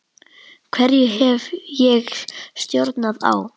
Hverju hef ég stjórn á?